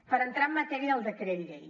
per entrar en matèria del decret llei